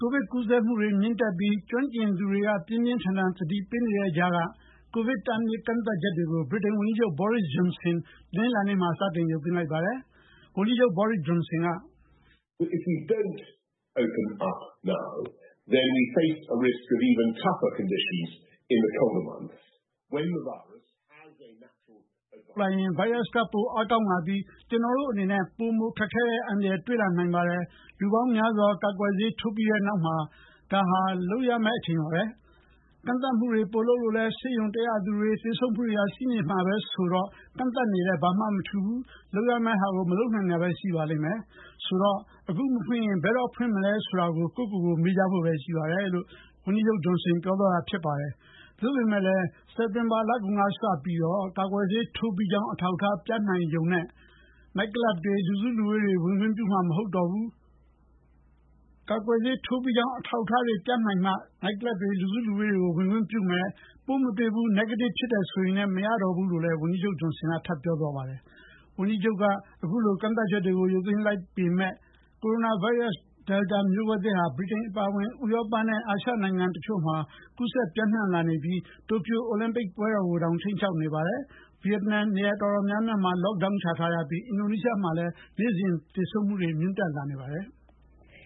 ကိုဗစ်ကူးစက်မှုတွေမြင့်တက်ပြီး ကျွမ်းကျင်သူတွေ ပြင်းပြင်းထန်ထန်သတိပေးနေတဲ့ကြားက ကိုဗစ်တားမြစ်ကန့်သတ်ချက်တွေကို ဗြိတိန်ဝန်ကြီးချုပ် Boris Johnson တနင်္လာနေ့မှာ စတင်ရုပ်သိမ်းလိုက်ပါတယ်။ ဝန်ကြီးချုပ် Johnson က- “အခုချိန်ဖွင့်မပေးရင် အေးတဲ့လတွေ ရောက်လာရင် ဗိုင်းရပ်စ်က ပိုမိုအားကောင်းလာပြီး ကျနော်တို့အနေနဲ့ ပိုမိုခက်ခဲတဲ့ အန္တရာယ်တွေ့လာနိုင်ပါတယ်။ လူပေါင်းများစွာ ကာကွယ်ဆေးထိုးပြီးတဲ့နောက်မှာ ဒါဟာ လုပ်ရတဲ့အချိန်ပါပဲ။ ကန့်သတ်မှုတွေ ပိုလုပ်လဲ ဆေးရုံတက်ရသူတွေ၊ သေဆုံးမှုတွေ ရှိနေမှာပဲဆိုတော့ ကန့်သတ်နေလည်း ဘာမှမထူးပါဘူး။ လုပ်ရမယ့်ဟာကို မလုပ်နိုင်တာပဲရှိပါလိမ့်မယ်။ ဆိုတော့ အခုမဖွင့်ရင် ဘယ်တော့ ဖွင့်နိုင်မလဲ ဆိုတာ ကိုယ့်ဟာကိုယ်မေးကြဖို့ပဲ ရှိပါတယ်” လို့ပြောသွားတာပါ။ ဒါပေမဲ့ စက်တင်ဘာလကုန်ကစပြီး ကာကွယ်ဆေးထိုးပြီးကြောင်း အထောက်အထားပြနေမှ နိုက်ကလပ်တွေ၊ လူစုလူဝေးတွေကို ဝင်ခွင့်ပြုမယ်၊ ပိုးမတွေ့ဘူး၊ negative ဖြစ်တယ်ဆိုရုံနဲ့ မရတော့ဘူးလို့လည်း ဝန်ကြီးချုပ် Johnson ကပြောသွားပါတယ်။ ဗြိတိန်ဝန်ကြီးချုပ်က အခုလို ကန့်သတ်ချက်တွေ ရုပ်သိမ်းလိုက်ပေမယ့် ကိုရိုနာဗိုင်းရပ်စ် Delta မျိုးကွဲသစ်ဟာ ဗြိတိန်အပါအဝင် ဥရောပနဲ့ အာရှဒေသတချို့မှာ ကူးစက်ပျံ့နှံလာနေပြီး တိုကျို အိုလံပစ် ပွဲတော်ကိုတောင် ခြိမ်းခြောက်နေပါတယ်။ ဗီယက်နမ် နေရာတော်တော်များ lock down ချထားရပြီး အင်ဒိုနီးရှားမှာလည်း နေ့စဉ်သေဆုံးမှုနှုန်းမြင့်တက်နေပါတယ်။